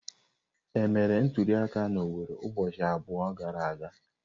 Emere ntuliaka na Owerre ụbọchị abụọ gara aga?